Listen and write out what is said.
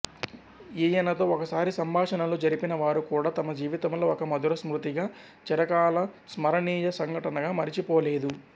ఈయనతో ఒకసారి సంభాషనలు జరిపినవారు కూడా తమ జీవితంలో ఒక మధుర స్మృతిగా చిరకాల స్మరణీయ సంఘటనగా మరచిపోలేదు